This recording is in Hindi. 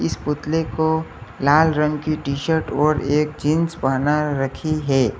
इस पुतले को लाल रंग की शर्ट और एक जींस पहना रखी है।